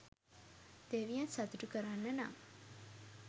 දෙවියන් සතුටු කරන්න නම්